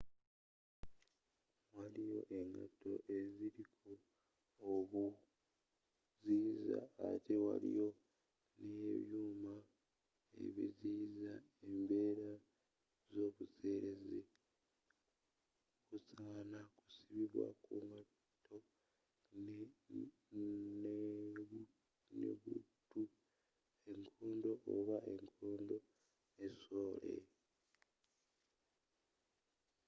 waliyo engato eziriko obuziyiza ate waliyo nebyuma ebiziyiza embeera zobuseelezi busaana kusibwa kungatto ne buutu enkondo oba enkondo ne sole